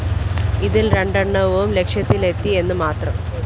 ഇതില്‍ രണ്ടെണ്ണവും ലക്ഷ്യത്തിലെത്തി എന്നു മാത്രം